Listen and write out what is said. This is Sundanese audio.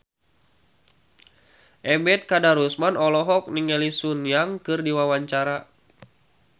Ebet Kadarusman olohok ningali Sun Yang keur diwawancara